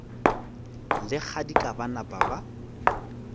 le kgadika ba napa ba